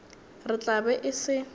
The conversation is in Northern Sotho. re tla be e se